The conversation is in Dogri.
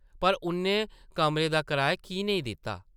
पर उʼन्नै कमरे दा कराया की नेईं दित्ता ?